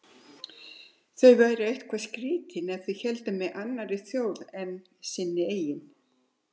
Þau væru eitthvað skrýtin ef þau héldu með annarri þjóð en sinni eigin.